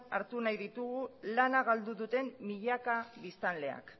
hartu nahi ditugu lana galdu duten milaka biztanleak